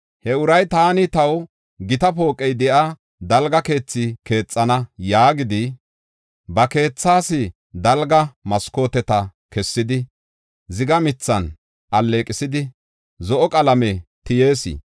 He uray, “Taani taw gita pooqey de7iya dalga keethi keexana” yaagdi, ba keethas dalga maskooteta kessidi, ziga mithan alleeqisidi, zo7o qalame tiyees.